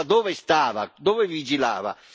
L'Europa dove stava, dove vigilava?